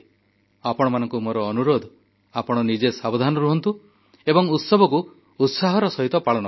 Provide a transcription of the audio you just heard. ଆପଣମାନଙ୍କୁ ମୋର ଅନୁରୋଧ ଆପଣ ନିଜେ ସାବଧାନ ରୁହନ୍ତୁ ଏବଂ ଉତ୍ସବକୁ ଉତ୍ସାହର ସହିତ ପାଳନ କରନ୍ତୁ